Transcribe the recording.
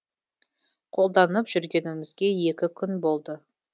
қолданып жүргенімізге екі күн болды